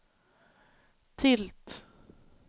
tilt